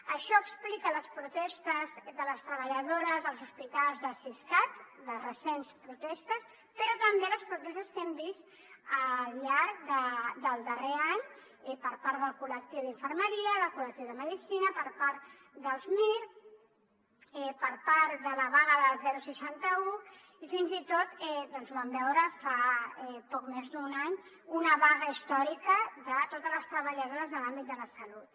això explica les protestes de les treballadores dels hospitals del siscat les recents protestes però també les protestes que hem vist al llarg del darrer any per part del col·lectiu d’infermeria del col·lectiu de medicina per part dels mir per part de la vaga del seixanta un i fins i tot vam veure fa poc més d’un any una vaga històrica de totes les treballadores de l’àmbit de la salut